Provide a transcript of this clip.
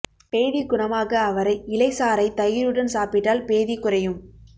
பேதி குணமாக அவரை இலை சாறை தயிருடன் சாப்பிட்டால் பேதி குறையும்